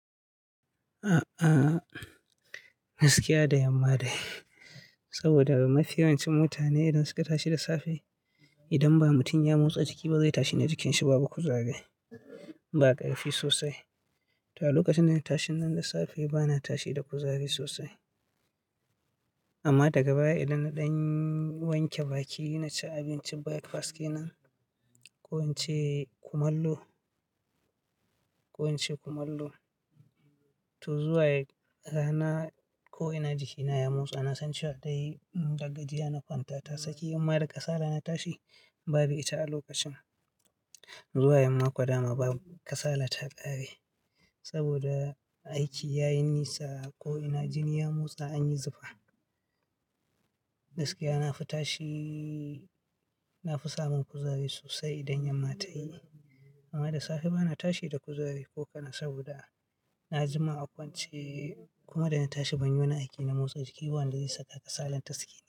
A'a, gaskiya da yamma dai saboda mafi yawancin mutane idan suka tashi da safe idan ba mutum ya motsa jiki ba zai tashi da jikinshi babu kuzari. Ba ƙarfi sosai, to a lokacin da na tashin nan da safe bana tashi da kuzari sosai. Amma daga baya idan na ɗan wanke baki, na ci abincin breakfast kenan, ko in ce kumallo, ko in ce kumallo, to zuwa rana ko'ina jikina ya motsa na san cewa dai gajiya na kwanta tasaki. Amma da ƙasala na tashi babu ita a lokacin. Zuwa yan mako dama ba ƙasala ta ƙare saboda, aiki ya yi nisa ko'ina jini ya motsa an yi zufa. Gaskiya na fi tashi, na fi samun kuzari sosai idan yamma tayi. Amma da safe bana tashi da kuzari ko kaɗan saboda, na jima a kwance, kuma da na tashi ban yi wani aiki na motsa jiki ba wanda zai saka ƙasalar tasake.